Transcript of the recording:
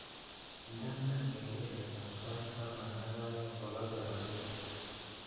Indene kengeletab sait taman ak aeng kogachor asista